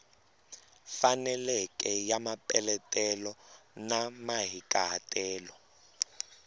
faneleke ya mapeletelo na mahikahatelo